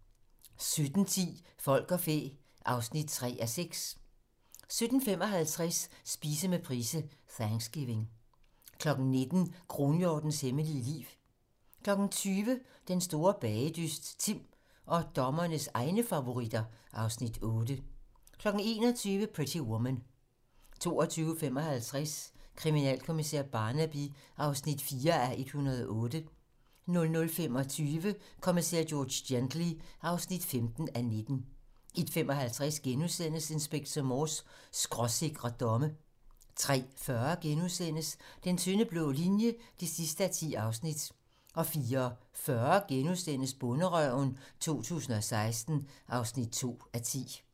17:10: Folk og fæ (3:6) 17:55: Spise med Price: Thanksgiving 19:00: Kronhjortens hemmelige liv 20:00: Den store bagedyst - Timm og dommernes egne favoritter (Afs. 8) 21:00: Pretty Woman 22:55: Kriminalkommissær Barnaby (4:108) 00:25: Kommissær George Gently (15:19) 01:55: Inspector Morse: Skråsikre domme * 03:40: Den tynde blå linje (10:10)* 04:40: Bonderøven 2016 (2:10)*